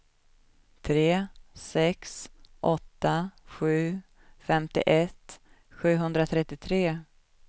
tre sex åtta sju femtioett sjuhundratrettiotre